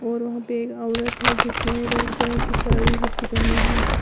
और वहां पे एक औरत है जिसने रेड कलर की साड़ी जैसे पहनी हुई है।